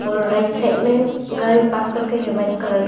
और right side में गाड़ी पार्क करके है व्हाइट कलर का।